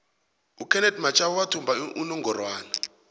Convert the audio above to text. ukenethi mashaba wathumba inongorwana